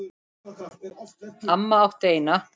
Amma átti eina.